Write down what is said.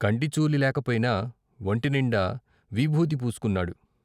కంటిచూలి లేకపోయినా ఒంటినిండా విభూది పూసుకున్నాడు.